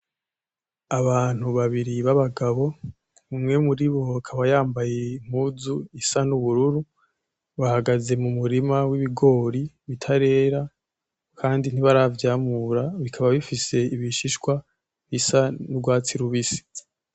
Abantu babiri babagabo umwe muribo akaba yambaye impuzu isa n'ubururu bahagaze mu murima w'ibigori bitarera kandi ntibaravyamura bikaba bifise ibishihwa bisa n'ugwatsi rubisi .